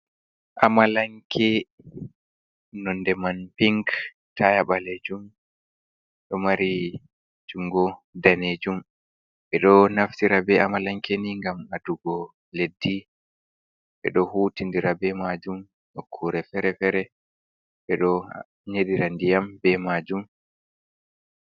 Amalanke, nonde man pink taya balejum, ɗo mari jungo danejum. Ɓe ɗo naftira be amalanke ni ngam adugo leddi, ɓe ɗo hutindira be majum nokkure fere-fere ɓe ɗo nyedira ndiyam be majum.